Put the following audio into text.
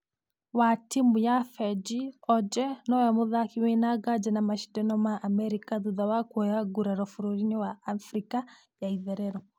....wa timũ ya fengi ojee nũwe mũthaki wĩna nganja na mashidano ma america thutha wa kuoya nguraro bũrũri wa africa ya itherero.